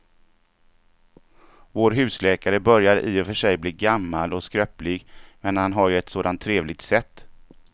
Vår husläkare börjar i och för sig bli gammal och skröplig, men han har ju ett sådant trevligt sätt!